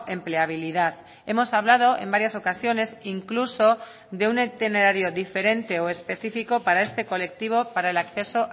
empleabilidad hemos hablado en varias ocasiones incluso de un itinerario diferente o específico para este colectivo para el acceso